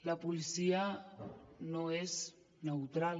la policia no és neutral